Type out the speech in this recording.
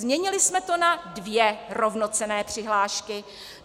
Změnili jsme to na dvě rovnocenné přihlášky.